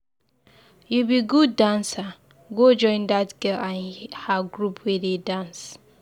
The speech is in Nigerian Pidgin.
You be good dancer, go join dat girl and her group wey dey dance.